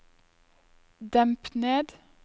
demp ned